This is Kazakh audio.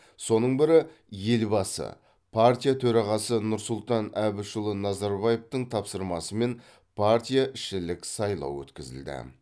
соның бірі елбасы партия төрағасы нұрсұлтан әбішұлы назарбаевтың тапсырмасымен партияішілік сайлау өткізілді